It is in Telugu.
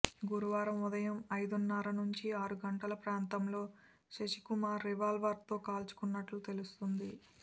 గురువారం ఉదయం ఐదున్నర నుంచి ఆరు గంటల ప్రాంతంలో శశికుమార్ రివాల్వర్తో కాల్చుకున్నట్టు తెలుస్తోంది